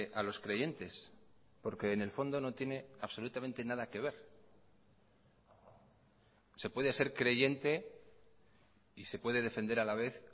a los creyentes porque en el fondo no tiene absolutamente nada que ver se puede ser creyente y se puede defender a la vez